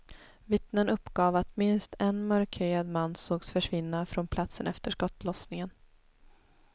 Vittnen uppgav att minst en mörkhyad man sågs försvinna från platsen efter skottlossningen.